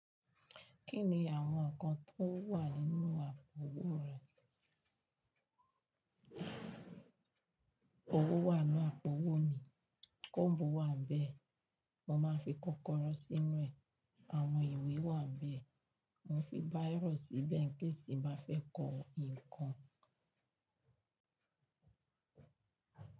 Kí ni àwọn nǹkan tó wà nínú àpò-owó rẹ? Owó wà n nu àpò-owó mi, combu wà níbẹ̀, mo máa ń fi kọ́kọ́rọ́ sínú ẹ̀. Àwọn ìwé wà nbẹ̀, mo fì báiro síbẹ̀ incase tì n báa fẹ́ kọ nǹkan.